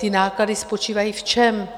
Ty náklady spočívají v čem?